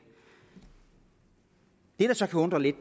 det der så kan undre lidt